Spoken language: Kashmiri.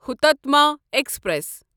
ہوتاتما ایکسپریس